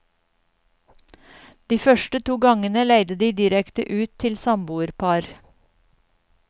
De første to gangene leide de direkte ut til samboerpar.